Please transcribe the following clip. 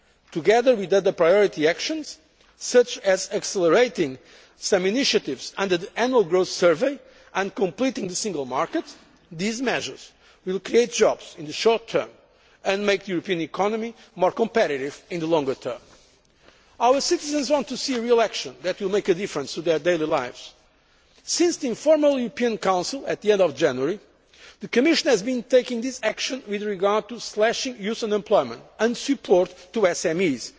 Council. Together with other priority actions, such as accelerating some initiatives under the Annual Growth Survey and completing the single market, these measures will create jobs in the short term and make the European economy more competitive in the longer term. Our citizens want to see real action that will make a difference to their daily lives. Since the informal European Council at the end of January, the Commission has been taking this action with regard to slashing youth unemployment and providing support